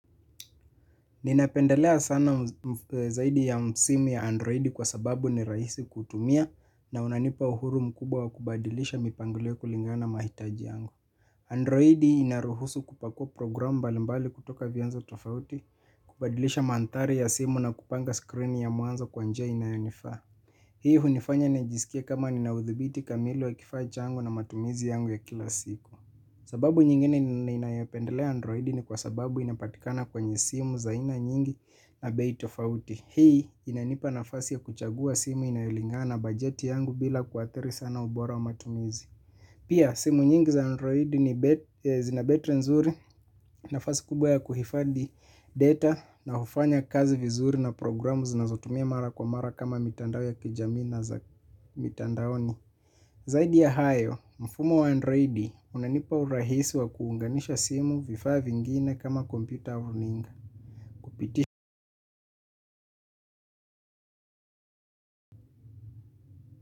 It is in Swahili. Nina pendelea sana zaidi ya simu ya Android kwa sababu ni rahisi kutumia na inanipa uhuru mkubwa wa kubadilisha mipangilio kulingana mahitaji yangu. Android inaruhusu kupakua program mbalimbali kutoka vianzo tofauti kubadilisha manthari ya simu na kupanga screen ya mwanzo kwa njia inayonifaa. Hii hunifanya najisikia kama nina udhibiti kamili wa kifacha yangu na matumizi yangu ya kila siku. Sababu nyingine ninayopendelea Android ni kwa sababu inapatikana kwenye simu za aina nyingi na bae tofauti. Hii inanipa nafasi ya kuchagua simu inayolingana bajeti yangu bila kuathiri sana ubora wa matumizi. Pia simu nyingi za Android ni zina betri nzuri nafasi kubwa ya kuhifadhi data na hufanya kazi vizuri na programu zinazotumia mara kwa mara kama mitandao ya kijamii na za mitandaoni. Zaidi ya hayo, mfumo wa Androidi unanipa urahisi wa kuunganisha simu vifaa vingine kama computer au nini.